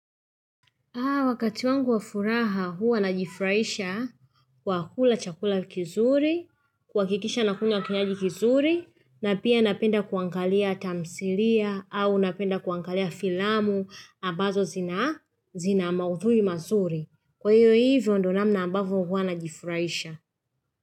Wakati wangu wa furaha huwa najifurahisha kwa kula chakula kizuri, kuhakikisha na kunywa kinywaji kizuri na pia napenda kuangalia tamsilia au napenda kuangalia filamu ambazo zina zina maudhui mazuri. Kwa hiyo hivyo ndio namna ambavyo huwa najifurahisha.